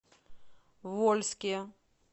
вольске